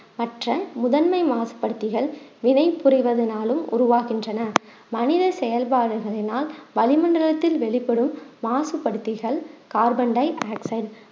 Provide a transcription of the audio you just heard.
மற்ற முதன்மை மாறுபடுத்திகள் வினை புரிவதுனாலும் உருவாகின்றன மனித செயல்பாடுகளினால் வளிமண்டலத்தில் வெளிப்படும் மாசுபடுத்திகள் கார்பன் டையாக்சைடு